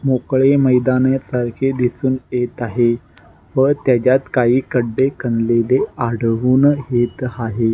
मोकळे मैदानासारखे दिसून येत आहे व त्याच्यात काही खड्डे खणलेले आढळून येत हाये.